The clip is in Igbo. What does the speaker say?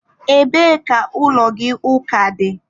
Ebee ka ụlọ gị ụka dị?